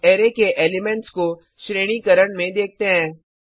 अब अराय के एलिमेंट्स को श्रेणीकरण में देखते हैं